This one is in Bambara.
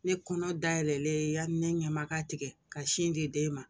Ne kɔnɔ dayɛlɛ yanni ne ɲɛ ma ka tigɛ ka sin di den ma